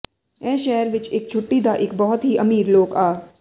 ਇਸ ਸ਼ਹਿਰ ਵਿਚ ਇਕ ਛੁੱਟੀ ਦਾ ਇੱਕ ਬਹੁਤ ਹੀ ਅਮੀਰ ਲੋਕ ਆ